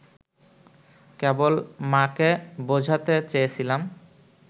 কেবল মা’কে বোঝাতে চেয়েছিলাম